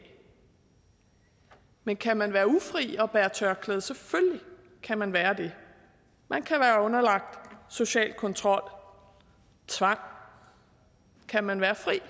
men kan man være ufri og bære tørklæde selvfølgelig kan man være det man kan være underlagt social kontrol tvang kan man være fri og